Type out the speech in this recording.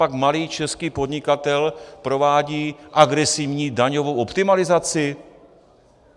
Copak malý český podnikatel provádí agresivní daňovou optimalizaci?